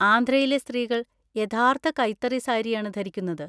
ആന്ധ്രയിലെ സ്ത്രീകൾ യഥാർത്ഥ കൈത്തറി സാരിയാണ് ധരിക്കുന്നത്.